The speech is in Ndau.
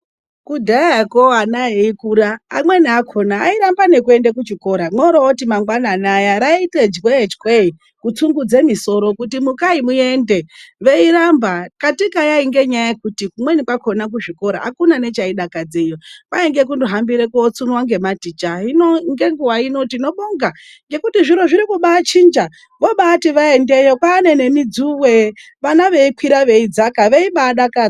Kudhaya vana veikura amweni akona vairamba kuenda kuchikora morooti mangwanani aya raita jwee chwee kutsungudza musoro kuti mukai muende veiramba katika yaiva nyaya yekuti kumweni kwakona kuzvikora akuna nechaidakadzeyo kwainge kungo hambira kutsunywa nevadzidzisi hino ngenguva ino tinobonga kuti zviro zviri kubachinja vobati vaendewe kune mijuwe vana veikwira veidzaka veibadakara.